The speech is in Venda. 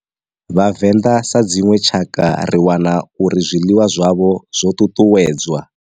Vhavenda sa dzinwe tshakha ri wana uri zwiḽiwa zwavho zwo ṱuṱuwedzwa.